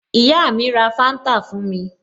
Ìyá mi ra Fanta fún mi